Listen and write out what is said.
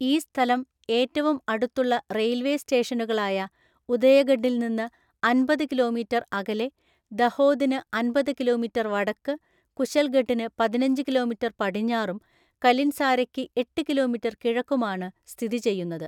ഈ സ്ഥലം ഏറ്റവും അടുത്തുള്ള റെയിൽവേ സ്റ്റേഷനുകളായ ഉദയഗഡിൽ നിന്ന് അന്‍പത് കിലോമീറ്റർ അകലെ, ദഹോദിന് അന്‍പത് കിലോമീറ്റർ വടക്ക്, കുശൽഗഢിന് പതിനഞ്ച് കിലോമീറ്റർ പടിഞ്ഞാറും കലിൻസാരയ്ക്ക് എട്ട് കിലോമീറ്റർ കിഴക്കുമാണ് സ്ഥിതിചെയ്യുന്നത്.